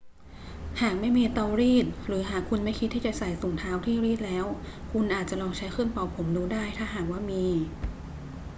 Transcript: หากไม่มีเตารีด หรือหากคุณไม่คิดที่จะใส่ถุงเท้าที่รีดแล้ว คุณอาจจะลองใช้เครื่องเป่าผมดูได้ ถ้าหากว่ามี